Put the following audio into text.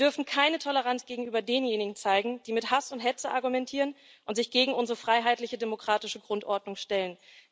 Wir dürfen keine Toleranz gegenüber denjenigen zeigen, die mit Hass und Hetze argumentieren und sich gegen unsere freiheitliche demokratische Grundordnung stellen.